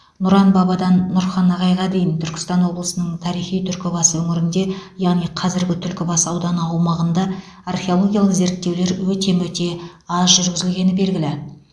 нұран бабадан нұрхан ағайға дейін түркістан облысының тарихи түркібасы өңірінде яғни қазіргі түлкібас ауданы аумағында археологиялық зерттеулер өте мөте аз жүргізілгені белгілі